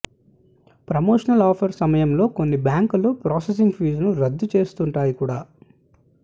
promotional offers సమయంలో కొన్ని బ్యాంకులు ప్రాసెసింగ్ ఫీజును రద్దు చేస్తుంటాయి కూడా